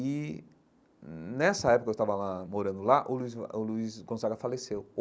E, nessa época em que eu estava lá morando lá, o Luiz Gon o Luiz Gonzaga faleceu.